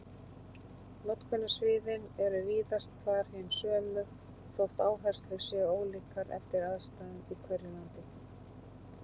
Notkunarsviðin eru víðast hvar hin sömu þótt áherslur séu ólíkar eftir aðstæðum í hverju landi.